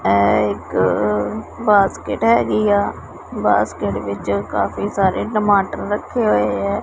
ਇਹ ਇੱਕ ਬਾਸਕੇਟ ਹੈਗੀ ਆ ਬਾਸਕੇਟ ਵਿੱਚ ਕਾਫੀ ਸਾਰੇ ਟਮਾਟਰ ਰੱਖੇ ਹੋਏ ਹੈਂ।